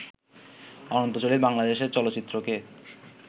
অনন্ত জলিল বাংলাদেশের চলচ্চিত্রকে